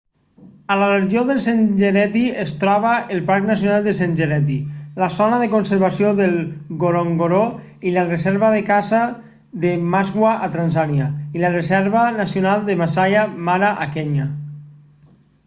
a la regió del serengeti es troba el parc nacional del serengeti la zona de conservació de ngorongoro i la reserva de caça de maswa a tanzània i la reserva nacional de maasai mara a kenya